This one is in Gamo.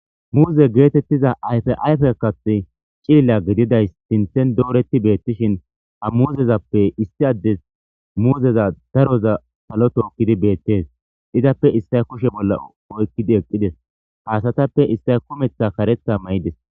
Muze getetiza ayifa ayife kaathi cilila gidizays sinthan doreti betishthin ha muzezappe isi adez muzeza daroza salo tookodi beettes izappe isay kushshe bolla oyqid eqides ha asatappe issay kumeththa kareththa mayidess